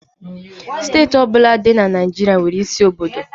Steeti ọ bụla dị na Naịjirịa nwere isi obodo.